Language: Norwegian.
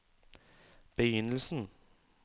begynnelsen